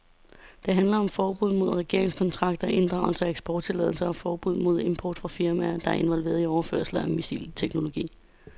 Det handler om forbud mod regeringskontakter, inddragelse af eksporttilladelser og forbud mod import fra firmaer, der er involveret i overførelser af missilteknologi.